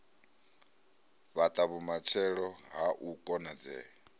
fhata vhumatshelo ha u konadzea